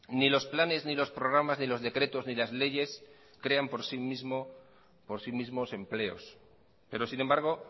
ni los planes ni los programas ni los decretos ni las leyes crean por sí mismos empleos pero sin embargo